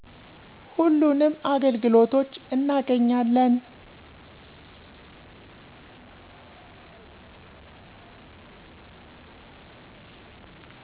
ሁሉንም አገልግሎቶች እናገኛለን።